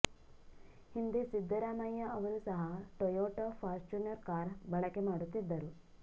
ಹಿಂದೆ ಸಿದ್ದರಾಮಯ್ಯ ಅವರು ಸಹ ಟೊಯೋಟಾ ಫಾರ್ಚುನರ್ ಕಾರು ಬಳಕೆ ಮಾಡುತ್ತಿದ್ದರು